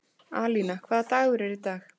Alína, hvaða dagur er í dag?